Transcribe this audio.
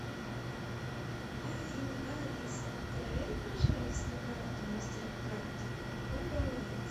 афина алиса проверь пожалуйста карту мастеркард какой баланс